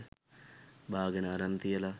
බාගෙන අරන් තියල